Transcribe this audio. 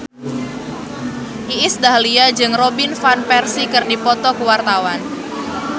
Iis Dahlia jeung Robin Van Persie keur dipoto ku wartawan